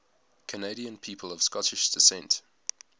canadian people of scottish descent